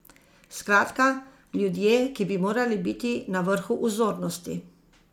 Skratka, ljudje, ki bi morali biti na vrhu vzornosti.